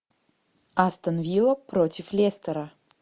астон вилла против лестера